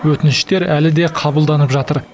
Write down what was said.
өтініштер әлі де қабылданып жатыр